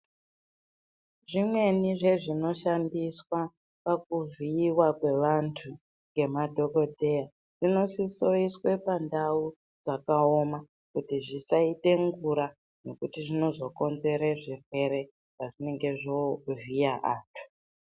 Zvimweni zvezvinoshandiswa pakuvhiyiwa kwevantu ngemadhokodheya zvinosisoiswe pandau dzakawoma kuti zvisaite ngura nekuti zvinozokonzere zvirwere pezvinenge zvovhiya ana.